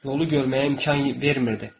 Nolu görməyə imkan vermirdi.